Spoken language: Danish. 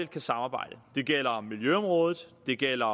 kan samarbejde det gælder miljøområdet det gælder